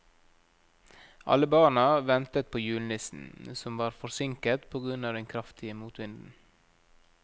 Alle barna ventet på julenissen, som var forsinket på grunn av den kraftige motvinden.